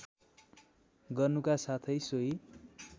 गर्नुका साथै सोही